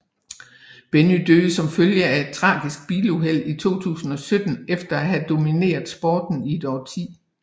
Benny døde som følge af et tragisk biluheld i 2007 efter at have domineret sporten i et årti